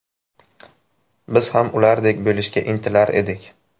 Biz ham ulardek bo‘lishga intilar edik.